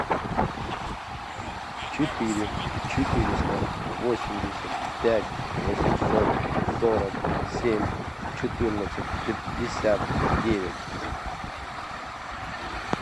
четыре четыреста восемьдесят пять восемьсот сорок семь четырнадцать пятьдесят девять